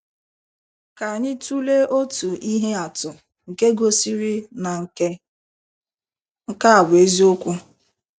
Ka anyị tụlee otu ihe atụ nke gosịrị na nke a bụ eziokwu.